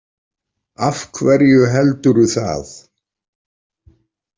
Af hverju heldurðu það?